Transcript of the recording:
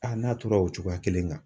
Aa n'a tora o cogoya kelen kan.